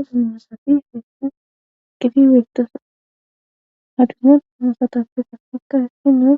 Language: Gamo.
Usan masafi feessan eqiti weytosa hadusuman maasatafe satikka hissi nee